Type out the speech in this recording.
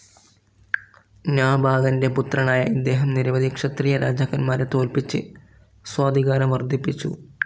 നാഭാഗന്റെ പുത്രനായ ഇദ്ദേഹം നിരവധി ക്ഷത്രിയ രാജാക്കന്മാരെ തോല്പിച്ച് സ്വാധികാരം വർദ്ധിപ്പിച്ചു.